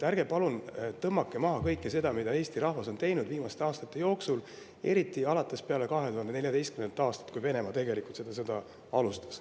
Ärge palun tõmmake maha kõike seda, mida Eesti rahvas on teinud viimaste aastate jooksul, eriti peale 2014. aastat, kui Venemaa tegelikult seda sõda alustas.